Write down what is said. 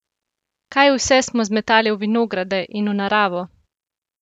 Kaj vse smo zmetali v vinograde in v naravo!